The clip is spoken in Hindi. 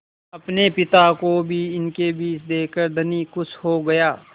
अपने पिता को भी इनके बीच देखकर धनी खुश हो गया